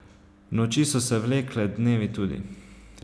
Noči so se vlekle, dnevi tudi.